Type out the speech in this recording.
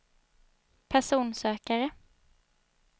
personsökare